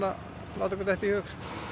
láta okkur detta í hug